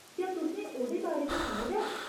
क्या तु'सें ओह्‌दे बारे च सुने दा ऐ ?